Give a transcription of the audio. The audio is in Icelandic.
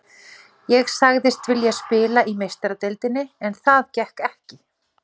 Ég sagðist vilja spila í Meistaradeildinni en það gekk ekki.